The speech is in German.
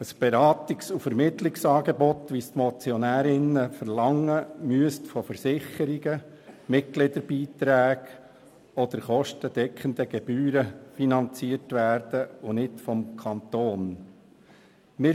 Ein Beratungs- und Vermittlungsangebot, so wie es die Motionärinnen verlangen, müsste von Versicherungen, Mitgliederbeiträgen oder kostendeckenden Gebühren finanziert werden und nicht vom Kanton Bern.